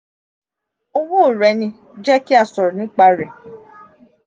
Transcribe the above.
owo re ni; jẹ ki a sọrọ nipa rẹ.